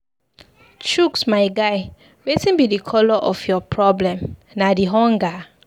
Chuks my guy, wetin be the colour of your problem, na the hunger?